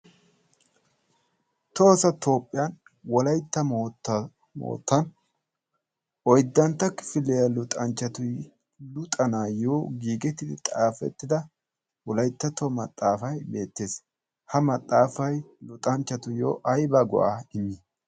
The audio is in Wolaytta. Tohosa toophphiyan wolyitta moottan oyddantta kifiliyaa luxanchchati luxanaayyo giigettidi xaafettida wolaittattuwaa maxaafai beettees ha maxaafai luxanchchatuyyo ayba guwaa immiis.